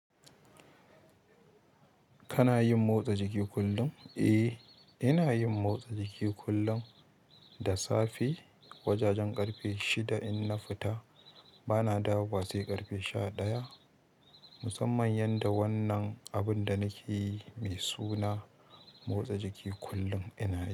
Kana yin motsa jiki kullum? Eh, ina yin motsa jiki kullum da safe. Wajajen ƙarfe shida in na fita, bana dawo wa sai ƙarfe sha ɗaya. Musamman yanda wannan abunda nakeyi mai suna motsa jiki kullum ina yi.